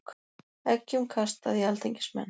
Eggjum kastað í alþingismenn